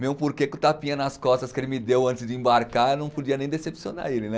Mesmo porque com o tapinha nas costas que ele me deu antes de embarcar, eu não podia nem decepcionar ele, né?